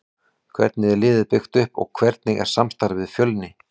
Hvernig er liðið byggt upp og hvernig er samstarfið við Fjölni?